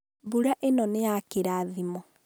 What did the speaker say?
mbura ĩno nĩ ya kĩrathimo